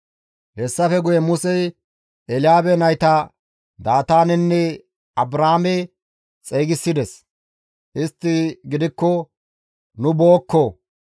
Hessafe guye Musey Elyaabe nayta Daataanenne Abraame xeygisides; istti gidikko, «Nu bookko!